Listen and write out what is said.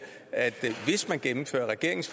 at hvis man gennemfører regeringens